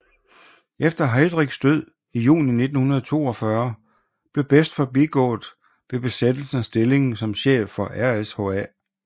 Efter Heydrichs død i juni 1942 blev Best forbigået ved besættelsen af stillingen som chef for RSHA